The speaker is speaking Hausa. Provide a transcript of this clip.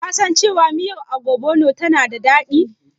Kasan cewa miyar Ogbono tana da daɗi?